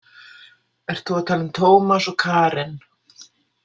Ert þú að tala um Tómas og Karen?